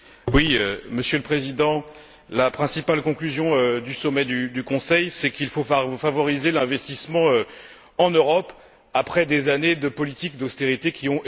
Monsieur le Président, la principale conclusion du sommet du Conseil, c'est qu'il faut favoriser l'investissement en Europe après des années de politiques d'austérité qui ont échoué.